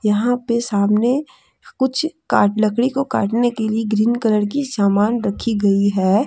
यहां पे सामने कुछ काट लकड़ी को काटने के लिए ग्रीन कलर की समान रखी गई हैं।